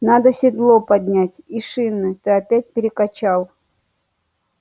надо седло поднять и шины ты опять перекачал